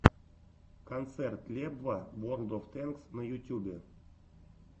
концерт лебва ворлд оф тэнкс на ютюбе